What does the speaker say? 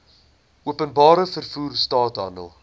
openbare vervoer straathandel